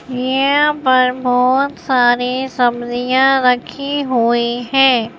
यहाँ पर बहुत सारी सब्जियां रखी हुई हैं।